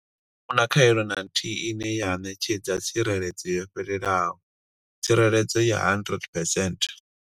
A hu na khaelo na nthihi ine ya ṋetshedza tsireledzo yo fhelelaho tsireledzo ya 100 percent.